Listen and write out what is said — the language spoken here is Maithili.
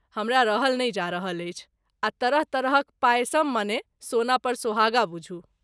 हमरा रहल नहि जा रहल अछि, आ तरह तरहक पायसम मने सोना पर सोहागा बुझू ।